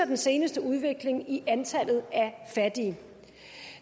den seneste udvikling i antallet af fattige